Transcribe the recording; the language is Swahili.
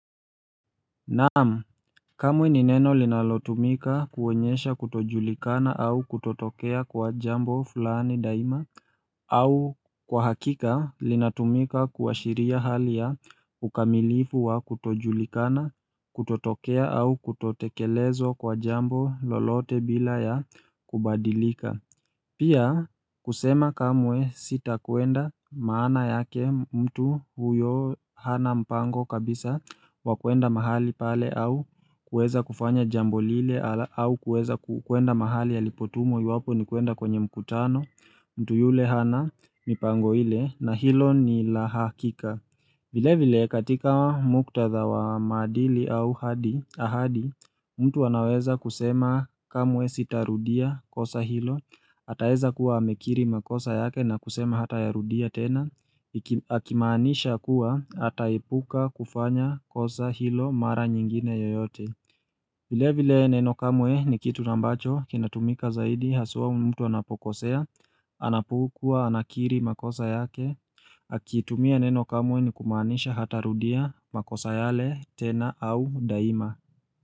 Naam, kamwe ni neno linalotumika kuonyesha kutojulikana au kutotokea kwa jambo fulani daima au kwa hakika linatumika kuashiria hali ya ukamilifu wa kutojulikana kutotokea au kutotekelezwa kwa jambo lolote bila ya kubadilika Pia kusema kamwe sitakwenda maana yake mtu huyo hana mpango kabisa wa kuenda mahali pale au kuweza kufanya jambo lile au kuweza kuenda mahali alipotumwa iwapo ni kuenda kwenye mkutano mtu yule hana mipango ile na hilo ni la hakika. Vile vile katika muktadha wa maadili au ahadi, mtu anaweza kusema kamwe sitarudia kosa hilo, ataeza kuwa amekiri makosa yake na kusema hatayarudia tena, akimaanisha kuwa ataepuka kufanya kosa hilo mara nyingine yoyote. Vile vile neno kamwe ni kitu ambacho kinatumika zaidi haswa mtu anapokosea, anapokuwa anakiri makosa yake, akitumia neno kamwe ni kumaanisha hatarudia makosa yale tena au daima.